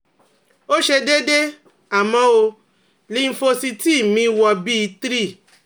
Ó ṣe deede, Amo o, lymphocyti mi wo bi three